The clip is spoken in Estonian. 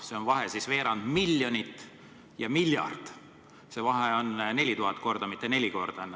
See vahe, veerand miljonit ja miljard, see vahe on 4000 korda, mitte neli korda.